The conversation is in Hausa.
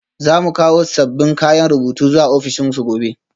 Za mu kawo sabbin kayan rubutu zuwa ofishinsu gobe